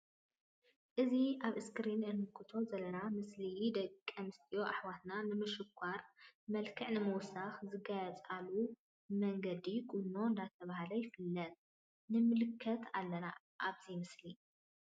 እዚ አብ እስክሪን እንምልከቶ ዘለና ምስሊ ደቂ አንስትዮ አሕዋትና ንምሽካር መልክዕ ንምውሳክ ዝጋየፃሉ መንገዲ ቁኖ ዳተብሃለ ይፍለጥ ንምልከት አለና አብዚ ምስሊ::